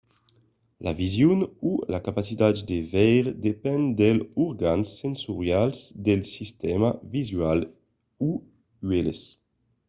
la vision o la capacitat de veire depend dels organs sensorials del sistèma visual o uèlhs